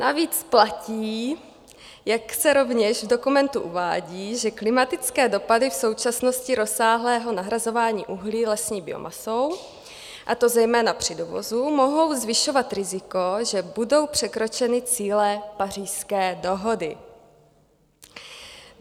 Navíc platí, jak se rovněž v dokumentu uvádí, že klimatické dopady v současnosti rozsáhlého nahrazování uhlí lesní biomasou, a to zejména při dovozu, mohou zvyšovat riziko, že budou překročeny cíle Pařížské dohody.